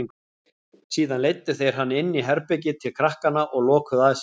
Síðan leiddu þeir hann inní herbergið til krakkanna og lokuðu að sér.